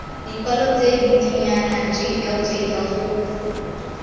dikwalo tse dintsinyana jljl go